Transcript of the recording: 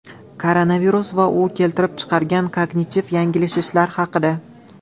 Koronavirus va u keltirib chiqargan kognitiv yanglishishlar haqida .